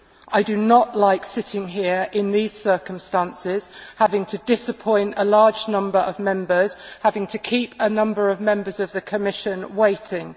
I do not like sitting here in these circumstances, having to disappoint a large number of Members and having to keep a number of Members of the Commission waiting.